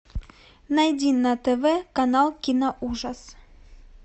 найди на тв канал кино ужас